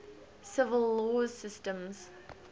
civil law systems